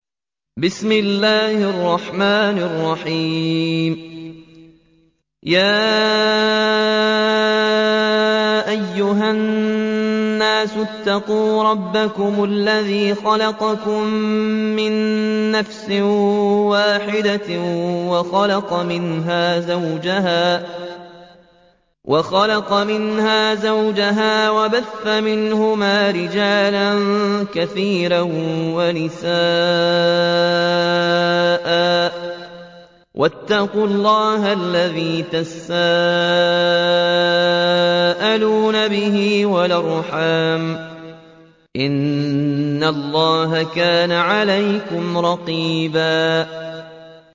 يَا أَيُّهَا النَّاسُ اتَّقُوا رَبَّكُمُ الَّذِي خَلَقَكُم مِّن نَّفْسٍ وَاحِدَةٍ وَخَلَقَ مِنْهَا زَوْجَهَا وَبَثَّ مِنْهُمَا رِجَالًا كَثِيرًا وَنِسَاءً ۚ وَاتَّقُوا اللَّهَ الَّذِي تَسَاءَلُونَ بِهِ وَالْأَرْحَامَ ۚ إِنَّ اللَّهَ كَانَ عَلَيْكُمْ رَقِيبًا